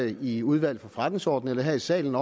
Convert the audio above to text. i udvalget for forretningsordenen eller her i salen